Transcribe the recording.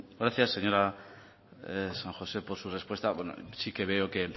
gracias señora san josé por su respuesta sí que veo que